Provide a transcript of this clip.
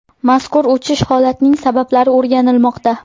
Mazkur o‘chish holatining sabablari o‘rganilmoqda.